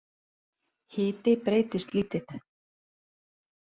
Hiti breytist lítið